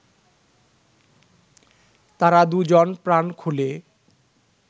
তারা দুজন প্রাণ খুলে